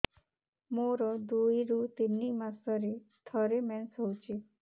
ମୋର ଦୁଇରୁ ତିନି ମାସରେ ଥରେ ମେନ୍ସ ହଉଚି